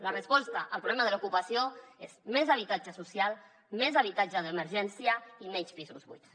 la resposta al problema de l’ocupació és més habitatge social més habitatge d’emergència i menys pisos buits